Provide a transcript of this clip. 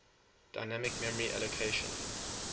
dynamic memory allocation